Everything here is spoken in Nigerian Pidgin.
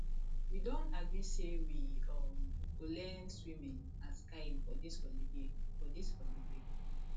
we don agree say we um go learn swimming and skiing for dis holiday for dis holiday